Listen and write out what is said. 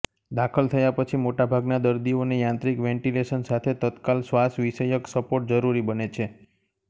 દાખલ થયા પછી મોટાભાગના દર્દીઓને યાંત્રિક વેન્ટિલેશન સાથે તત્કાલ શ્વાસવિષયક સપોર્ટ જરૂરી બને છે